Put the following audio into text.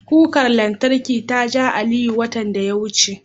Kukar lantarkin ta ja Aliyu, watan da ya wuce.